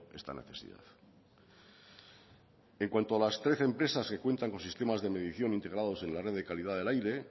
esta necesidad en cuanto a las trece empresas que cuentan con sistemas de medición integrados en la red de calidad del aire